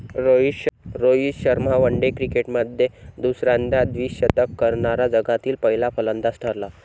Rohit Sharma one day क्रिकेटमध्ये दुसऱ्यांदा द्विशतक करणारा जगातील पहिला फलंदाज ठरला.